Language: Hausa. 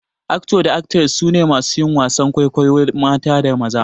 "Actor" da "Actress" su ne masu yin wasan kwaikwayo mata da maza.